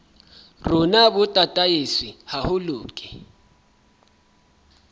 rona bo tataiswe haholo ke